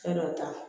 Fɛn dɔ ta